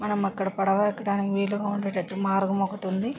మనం అక్కడ పడవ ఎక్కడానికి వీలుగా ఉండేటట్టు మార్గం ఒకటి ఉంది.